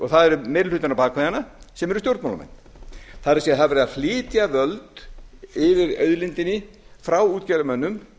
og það er meiri hlutinn á bak við hana sem eru stjórnmálamenn það er það er verið að flytja völd yfir auðlindinni frá útgerðarmönnum